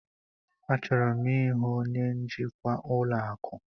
Achọrọ m ịhụ onye njikwa ụlọ akụ.